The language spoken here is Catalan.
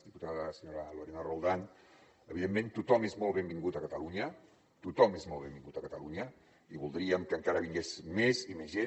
diputada senyora lorena roldán evidentment tothom és molt benvingut a catalunya tothom és molt benvingut a catalunya i voldríem que encara hi vingués més i més gent